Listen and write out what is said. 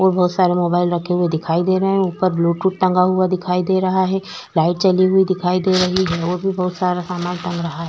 और बहुत सारे मोबाइल रखे हुए दिखाई दे रहें हैं उपर ब्लूटूथ टगा हुआ दिखाई दे रहा है लाइट झली हुई दिखाई दे रही है और भी बहुत सारा सामान टंग रहा है।